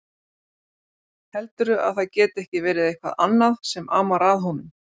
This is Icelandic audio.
Heldurðu að það geti ekki verið eitthvað annað sem amar að honum?